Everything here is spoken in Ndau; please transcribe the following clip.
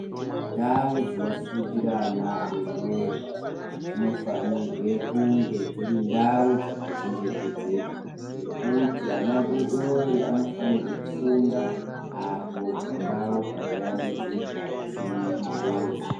Ndau dzinofundira ana adori dori dzinofanirwe kunge dziri ndau dzakachengetedzeka nekuti ana adori dori anofanirwe kufunda apo pandau pakayambidzika pasine njodzi.